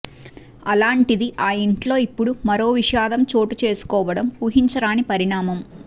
అలాంటిది ఆ ఇంట్లో ఇప్పుడు మరో విషాదం చోటు చేసుకోవడం ఊహించరాని పరిణామం